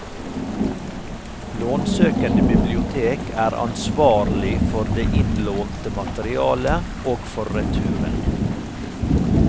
Lånsøkende bibliotek er ansvarlig for det innlånte materialet og for returen.